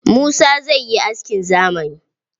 Musa zai yi askin zamani.